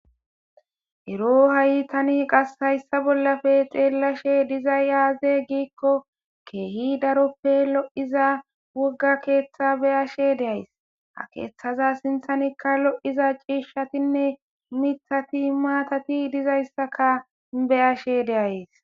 Ero ha7ytani qas hayssa bollafe xeellashe diza yaaze giikko keehi daroppe lo7iza wogga keeththa beyashe deays ha keeththaza sinthanikka lo7iza ciishshatinne mithati maatati dizayssaka beyashe deays